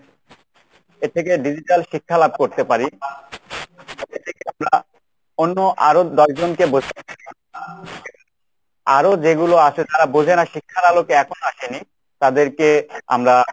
এর থেকে digital শিক্ষা লাভ করতে পারি অন্য আরো দশজনকে বো আরো যেগুলো আছে তারা বোঝেনা শিক্ষার আলোতে এখনো আসেনি তাদেরকে আমরা